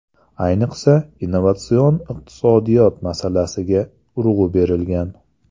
Ayniqsa, innovatsion iqtisodiyot masalasiga urg‘u berilgan.